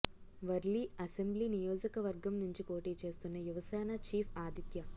Warli assembly నియోజక వర్గం నుంచి పోటీ చేస్తున్న యువ సేన చీఫ్ ఆదిత్య